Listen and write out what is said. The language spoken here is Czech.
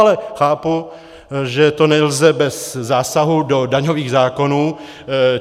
Ale chápu, že to nelze bez zásahu do daňových zákonů.